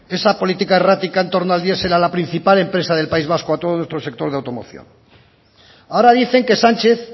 esa política errática entorno al diesel a la principal empresa del país vasco y a todo nuestro sector de automoción ahora dicen que sánchez